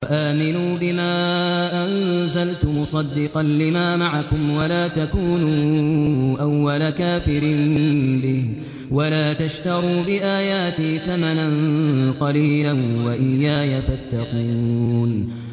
وَآمِنُوا بِمَا أَنزَلْتُ مُصَدِّقًا لِّمَا مَعَكُمْ وَلَا تَكُونُوا أَوَّلَ كَافِرٍ بِهِ ۖ وَلَا تَشْتَرُوا بِآيَاتِي ثَمَنًا قَلِيلًا وَإِيَّايَ فَاتَّقُونِ